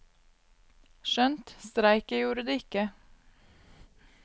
Skjønt, streiket gjorde de ikke.